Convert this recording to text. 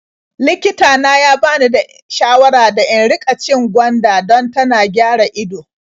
Likita na ya bani shawara da in riƙa cin gwanda dan tana gyara ido.